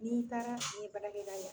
N'i taara fe yen baarakɛ da la